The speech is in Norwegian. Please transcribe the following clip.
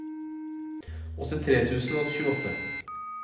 åttitre tusen og tjueåtte